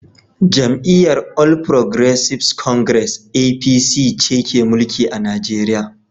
Jam’iyyar All Progressives Congress (APC) ce ke mulki a Nigeriya